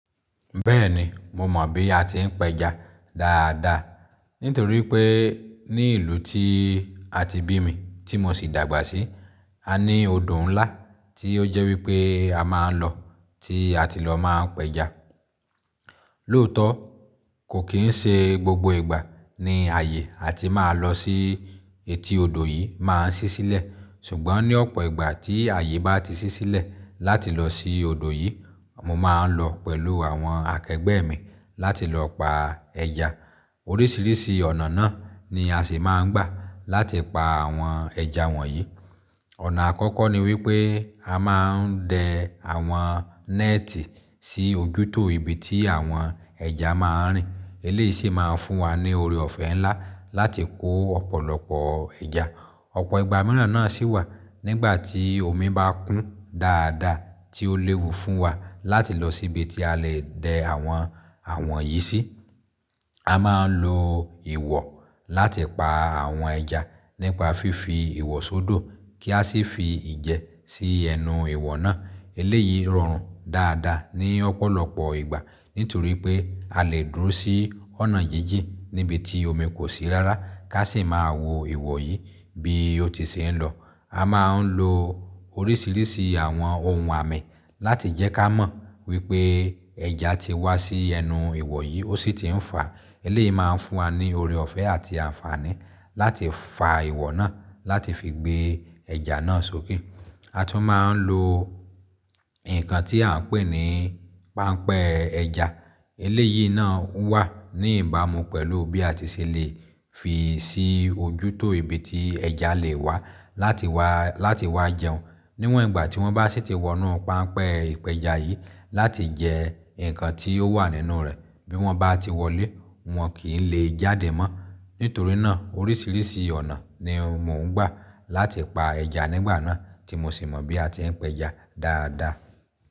Bẹ́ẹ̀ni, mo mọ̀ bí a ti ń péja dáadáa. Nítorí pé ní ìlú tí a ti bí mi, tí mo sì dàgbà sí, a ní odò ńlá tí ó jẹ́ wípé a máa ń lọ, tí a ti lọ máa ń péja. Lóòótọ́, kò kì í ṣe gbogbo ìgbà ni ààyè tí máa lọ sí etí odò yìí máa ń ṣí sílẹ̀. Ṣùgbọ́n ní ọ̀pọ̀ ìgbà tí ààyè bá ti ṣí sílẹ̀ láti lọ sí odò yìí, mo máa ń lọ pẹ̀lú àwọn akẹgbẹ́ mi láti lọ pa ẹja. Oríṣiríṣi ọ̀nà náà ni a sì máa ń gbà láti pa àwọn ẹja wọ̀nyí. Ọ̀nà àkọ́kọ́ ni wípé a máa ń dẹ àwọn néètì sí ojútò ibi tí àwọn ẹja máa ń rìn. Eléyìí sì máa ń fún wa ní oore ọ̀fẹ́ ńlá láti kó ọ̀pọ̀lọpọ̀ ẹja. Ọ̀pọ̀ ìgbà mìíràn náà sì wà, nígbà tí omi bá kún dáadáa tí ó léwu fún wa láti lọ síbi tí a lè dẹ àwọn, àwọn yìí sí. A máa ń lo ìwọ̀ láti pa àwọn ẹja nípa fífi ìwọ̀ sódò kí a sì fi ìjẹ sí ẹnu ìwọ̀ náà. Eléyìí rọrùn dáadáa ní ọ̀pọ̀lọpọ̀ ìgbà, nítorí pé a lè dúró sí ọ̀nà jíjìn níbi tí omi kò sí rárá ká sì máa wo ìwọ̀ yìí bí ó ti ṣe ń lọ. A máa ń lo oríṣiríṣi àwọn ohun àmì láti jẹ́ ká mọ̀ wípé ẹja ti wá sí ẹnu ìwọ̀ yìí ó sì ti ń fà. Eléyìí máa ń fún wa ní oore ọ̀fẹ́ àti àǹfààní láti fà ìwọ̀ náà láti fi gbé ẹ̀jà náà sókè. A tún máa ń lo nǹkan tí à ń pè ní páńpẹ́ ẹja. Eléyìí náà wà ní ìbámu pẹ̀lú bí a ti ṣe lè fi sí ojútò ibi tí ẹ̀jà lè wá láti wá, láti wá jẹun. Níwọ̀n ìgbà tí wọ́n bá sì ti wọ inú páńpẹ́ ìpẹja yìí láti jẹ nǹkan tí ó wà nínú rẹ̀ bí wọ́n bá ti wọlé, wọn kì í lè jáde mọ́. Nítorí náà oríṣiríṣi ọ̀nà ni mò ń gbà láti pa ẹja nígbà náà tí mo sì mọ̀ bí a ti ń péja dáadáa.